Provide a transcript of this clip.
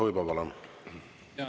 Toomas Uibo, palun!